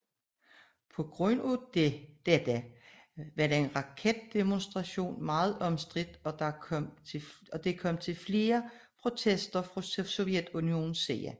På grund af dette var denne raketdemonstration meget omstridt og der kom til flere protester fra Sovjetunionens side